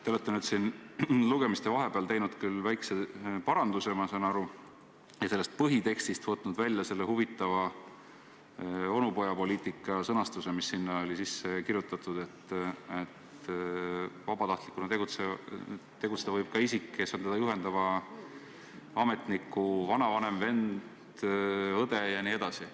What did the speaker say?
Te olete lugemiste vahepeal teinud küll väikse paranduse, ma saan aru, ja võtnud põhitekstist välja selle huvitava onupojapoliitikale viitava sõnastuse, mis alguses sinna sisse oli kirjutatud, et vabatahtlikuna võib tegutseda ka isik, kes on teda juhendava ametniku vanavanem, vend, õde jne.